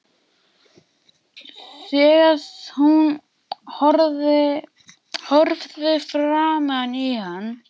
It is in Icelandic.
Þegar hún horfði framan í hann